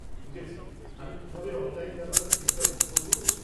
বুঝেছি! আমি কিভাবে অনলাইন যাত্রার স্লিপটা বুক করব?